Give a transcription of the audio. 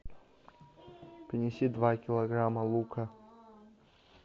принеси два килограмма лука